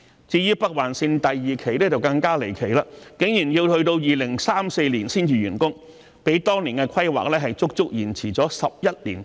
至於北環綫第二期的時間表則更離奇，竟然要到2034年才完工，較當年的規劃整整延遲了11年之久。